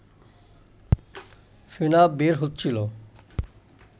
ফেনা বের হচ্ছিল